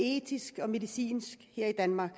etisk og medicinsk her i danmark